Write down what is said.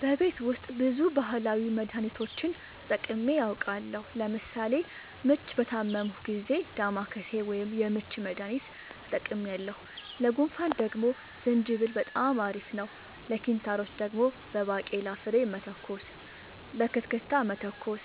በቤት ውስጥ ብዙ ባህላዊ መድሀኒቶችን ተጠቅሜ አውቃለሁ ለምሳሌ ምች በታመምሁ ጊዜ ዳማከሴ ወይም የምች መድሀኒት ተጠቅሜያለሁ ለጉንፋን ደግሞ ዝንጅብል በጣም አሪፍ ነው ለኪንታሮት ደግሞ በባቄላ ፍሬ መተኮስ በክትክታ መተኮስ